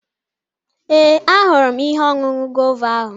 Ee, ahụrụ m ihe ọṅụṅụ guava ahụ